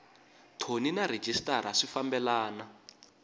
thoni na rhejisitara swi fambelena